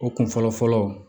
O kun fɔlɔ fɔlɔ